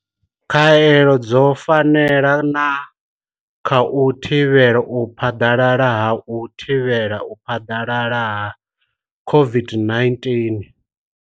Khaelo dzo fanela na kha u thivhela u phaḓalala ha u thivhela u phaḓalala ha COVID-19.